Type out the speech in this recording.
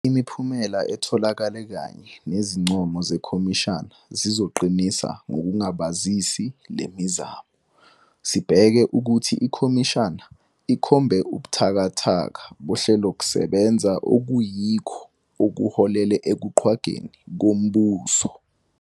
Imiphumela etholakele kanye nezincomo zekhomishana zizoqinisa ngokungangabazisi le mizamo. Sibheke ukuthi ikhomishana ikhombe ubuthakathaka bohlelokusebenza okuyikho okuholele ekuqhwagweni kombuso.